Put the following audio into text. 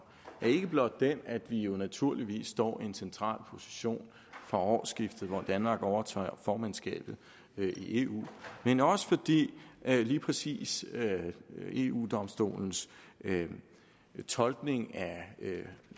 er ikke blot den at vi naturligvis står i en central position fra årsskiftet hvor danmark overtager formandskabet i eu men også at lige præcis eu domstolens fortolkning af